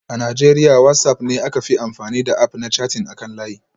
A Najeriya WhatsApp ne aka fi amfani da App na chatting akan layi